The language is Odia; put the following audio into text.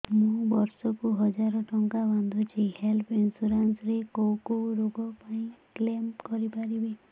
ମୁଁ ବର୍ଷ କୁ ହଜାର ଟଙ୍କା ବାନ୍ଧୁଛି ହେଲ୍ଥ ଇନ୍ସୁରାନ୍ସ ରେ କୋଉ କୋଉ ରୋଗ ପାଇଁ କ୍ଳେମ କରିପାରିବି